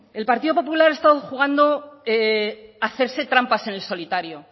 el partido popular ha estado jugando a hacerse trampas en el solitario